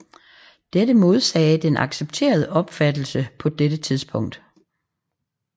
Dette modsagde den accepterede opfattelse på dette tidspunkt